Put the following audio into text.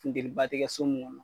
Funteni ba ti kɛ mun kɔnɔ .